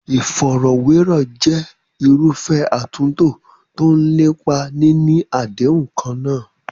Ìfọ̀rọ̀wérọ̀ jẹ́ irúfẹ́ àtúntò tó ń lépa níní àdéhùn kan náà.